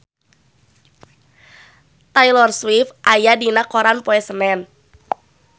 Taylor Swift aya dina koran poe Senen